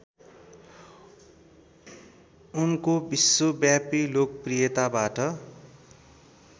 उनको विश्वव्यापी लोकप्रियताबाट